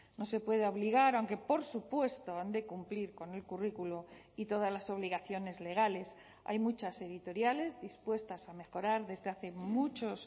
no se puede obligar aunque por supuesto han de cumplir con el currículo y todas las obligaciones legales hay muchas editoriales dispuestas a mejorar desde hace muchos